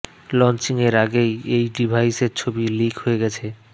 launching এর আগেই এই ডিভাইসের ছবি লিক হয়ে গেছে